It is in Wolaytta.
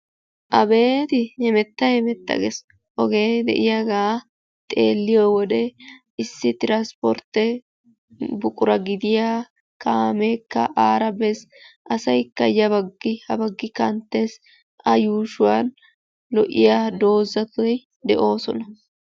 Abeeti hemetta hemetta gees. Ogee de'iyagaa xeelliyo wode tiranspportte buqura gidiya kaameekka biiddi dees. Asaykka ya baggi ha baggi kanttees. A yuushuwan doozati de'oosona.